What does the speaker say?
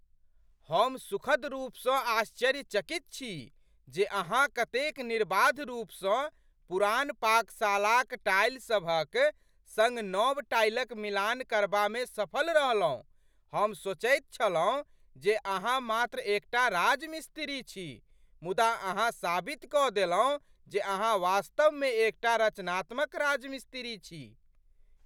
हम सुखद रूपसँ आश्चर्यचकित छी जे अहाँ कतेक निर्बाध रूपसँ पुरान पाकशालाक टाइलसभक सङ्ग नव टाइलक मिलान करबामे सफल रहलहुँ। हम सोचैत छलहुँ जे अहाँ मात्र एकटा राजमिस्त्री छी मुदा अहाँ साबित कऽ देलहुँ जे अहाँ वास्तवमे एकटा रचनात्मक राजमिस्त्री छी।